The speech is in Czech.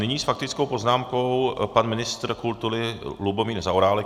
Nyní s faktickou poznámkou pan ministr kultury Lubomír Zaorálek.